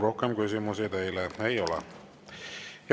Rohkem küsimusi teile ei ole.